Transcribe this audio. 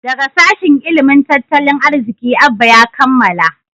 daga sashin ilimin tattalin arziki Abba ya kammala